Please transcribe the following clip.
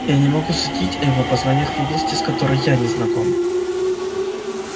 я не могу судить о его познаниях в области с которой я не знаком